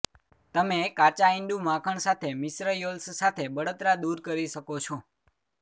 તમે કાચા ઈંડું માખણ સાથે મિશ્ર યોલ્સ સાથે બળતરા દૂર કરી શકો છો